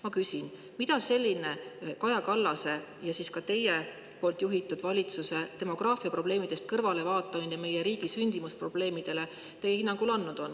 Ma küsin: mida on selline Kaja Kallase juhitud ja ka teie valitsuse demograafiaprobleemidest kõrvale vaatamine meie riigi sündimusprobleemidele teie hinnangul andnud?